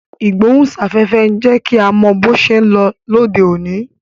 Ìgbóhùn sáfẹ́fẹ́ ń jẹ́ kí a mọ bó ṣé ń lọ lóde òní